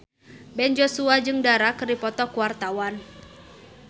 Ben Joshua jeung Dara keur dipoto ku wartawan